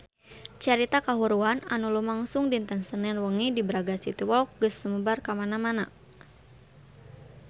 Carita kahuruan anu lumangsung dinten Senen wengi di Braga City Walk geus sumebar kamana-mana